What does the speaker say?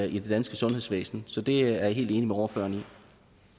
i det danske sundhedsvæsen så der er jeg helt enig med ordføreren